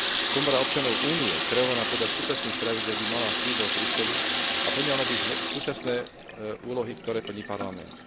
Komora občanov Únie, kreovaná podľa súčasných pravidiel, by mala sídlo v Bruseli a plnila by súčasné úlohy, ktoré plní Parlament.